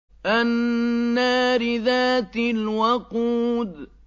النَّارِ ذَاتِ الْوَقُودِ